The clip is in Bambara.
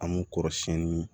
An m'u kɔrɔsiyɛnni